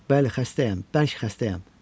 Bəli, xəstəyəm, bəli, xəstəyəm!